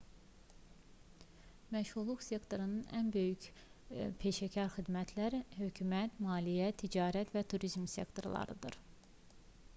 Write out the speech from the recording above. məşğulluq sektorlarının ən böyükləri peşəkar xidmətlər hökumət maliyyə ticarət və turizm sektorlarıdır